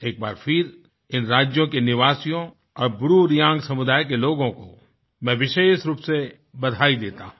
एक बार फिर इन राज्यों के निवासियों और ब्रूरेंग समुदाय के लोगों को मैं विशेष रूप से बधाई देता हूँ